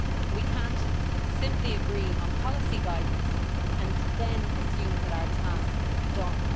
We cannot simply agree on policy guidance and then assume that our task is done.